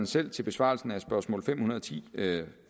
selv til besvarelsen af spørgsmål fem hundrede og ti